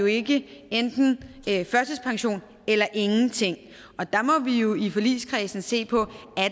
ikke enten er en førtidspension eller ingenting og der må vi jo i forligskredsen se på